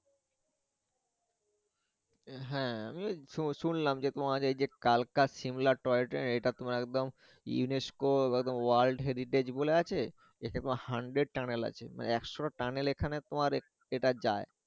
হ্যা আমিও শুনলাম যে তোমার এই যে কালকা শিমলা টয় ট্রেন এই টা তোমার একদম UNESCO একদম world heritage বলে গেছে একে তো hundred tunnel আছে মানে একশ টা tunnel এখানে তোমার এটার যায়।